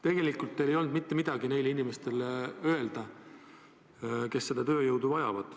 Tegelikult ei olnud teil mitte midagi öelda neile inimestele, kes seda tööjõudu vajavad.